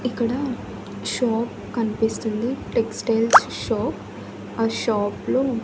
ఇక్కడ షాప్ కనిపిస్తుంది textile shop ఆ షాప్ లో.